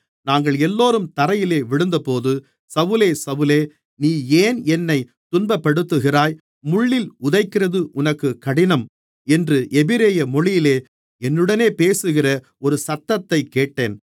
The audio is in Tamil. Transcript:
நாங்களெல்லோரும் தரையிலே விழுந்தபோது சவுலே சவுலே நீ ஏன் என்னைத் துன்பப்படுத்துகிறாய் முள்ளில் உதைக்கிறது உனக்குக் கடினம் என்று எபிரெயு மொழியிலே என்னுடனே பேசுகிற ஒரு சத்தத்தைக் கேட்டேன்